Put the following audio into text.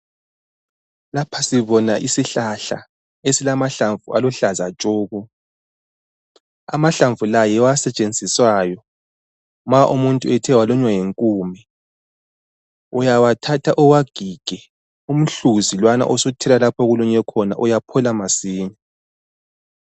Lapha sibona isihlahla esilamahlamvu aluhlaza tshoko . Amahlamvu la yiwo asetshenziswayo nxa umuntu uthe walunywa yinkume. Uyawathatha uwagige, umhluzi lowana usuthela lapho olunywe khona uyaphola masinya.